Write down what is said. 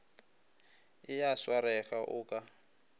e a swarega o ka